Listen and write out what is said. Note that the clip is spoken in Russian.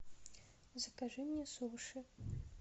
закажи мне суши